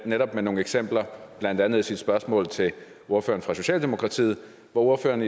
netop med nogle eksempler blandt andet i sit spørgsmål til ordføreren fra socialdemokratiet hvor ordføreren